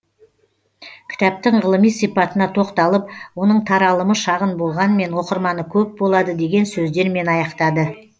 кітаптың ғылыми сипатына тоқталып оның таралымы шағын болғанмен оқырманы көп болады деген сөздермен аяқтады